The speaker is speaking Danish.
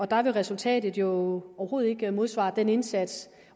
der vil resultatet jo overhovedet ikke modsvare den indsats